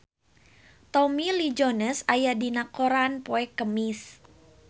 Tommy Lee Jones aya dina koran poe Kemis